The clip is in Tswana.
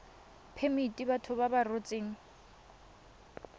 phemiti batho ba ba rotseng